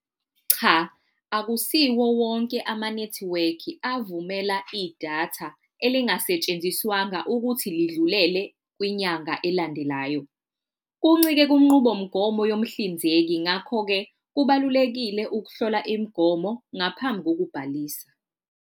Cha, akusiwo wonke amanethiwekhi avumela idatha elingasetshenziswanga ukuthi lidlulele kwinyanga elandelayo, kuncike kunqubomgomo yomhlinzeki. Ngakho-ke, kubalulekile ukuhlola imigomo ngaphambi kokubhalisa.